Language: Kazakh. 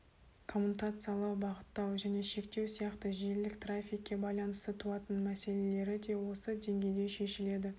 коммутациялау бағыттау және шектеу сияқты желілік трафикке байланысты туатын мәселелері де осы деңгейде шешіледі